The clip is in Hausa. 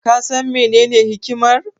Ka san menene hikimar?